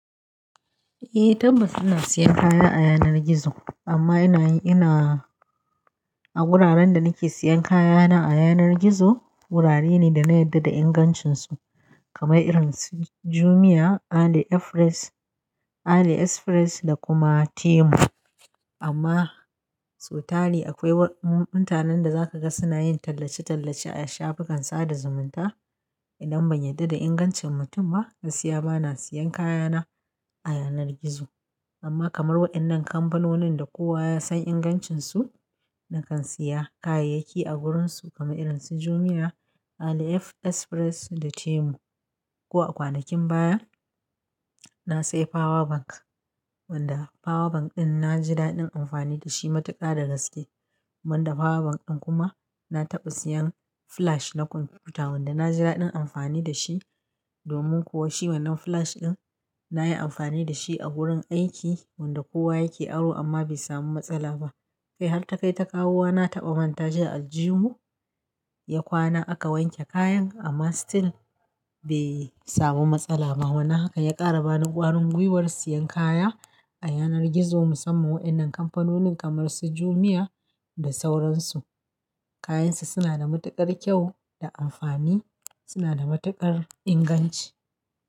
Eh tabbas ina siyan kaya a yanar gizo amma ina, ina a wuraren da nake siyan kayana a yanar gizo wurare ne da na yarda da ingancinsu kamar irin su Jumia, AliExpress, AliExpress da kuma Temu. Amma so tari akwai mutanen da za ka ga suna yin tallace-tallace a shafukan sada zumunta. Idan ban yarda da ingancin mutum ma, gaskiya ba na siyan kayana a yanar gizo. Amma kamar waɗannan kamfanonin da kowa ya san ingancinsu, nakan siya kayayyaki a wurinsu kamar irin su Jumia, AliExpress da Temu. Ko a kwanakin baya na sayi power bank wanda power bank ɗin na ji daɗin amfani da shi matuƙa da gaske. Wanda power bank ɗin kuma na taɓa siyan flash na kwamfuta wanda na ji daɗin amfani da shi domin kuwa shi wannan flash ɗin na yi amfani da shi a wurin aiki wanda kowa yake aro amma bai samu matsala ba. Kai har ta kai ta kawu wa na taɓa manta shi a aljihu ya kwana aka wanke kayan amma still bai samu matsala ba. Wannan haka ya ƙara bani ƙwarin gwiwar siyan kaya a yanar gizo musamman waɗannan kamfanonin kamar su Jumia da sauransu. Kayansu suna da matuƙar kyau da amfani, suna da matuƙar inganci.